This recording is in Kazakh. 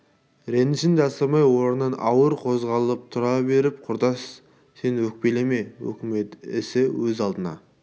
ренішін жасырмай орнынан ауыр қозғалып тұра беріп құрдас сен өкпелеме өкімет ісі өз алдына